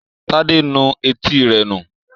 Tade nù Etí rẹ nu.